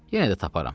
Yenə də taparam.